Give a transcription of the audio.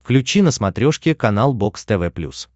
включи на смотрешке канал бокс тв плюс